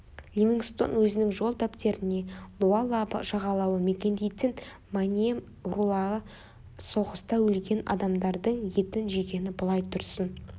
ливингстон өзінің жол дәптеріне луалаба жағалауын мекендейтін маньем рулары соғыста өлген адамдардың етін жегені былай тұрсын